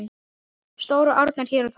Stóru árnar hér og þar.